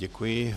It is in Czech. Děkuji.